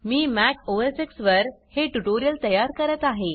मी Mac OS X वर हे tutorial तयार करत आहे